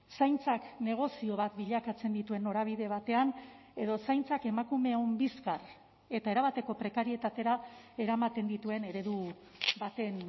zaintzak negozio bat bilakatzen dituen norabide batean edo zaintzak emakumeon bizkar eta erabateko prekarietatera eramaten dituen eredu baten